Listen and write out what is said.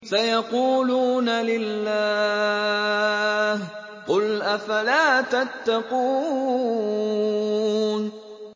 سَيَقُولُونَ لِلَّهِ ۚ قُلْ أَفَلَا تَتَّقُونَ